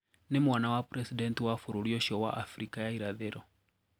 Ni mwana wa Presidenti wa bũrũri ũcio wa Afrika ya irathero.